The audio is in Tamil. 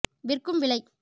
விற்கும் விலை